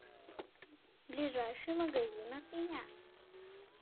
ближайший магазин от меня